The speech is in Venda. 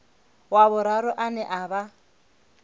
wa vhuraru ane a vha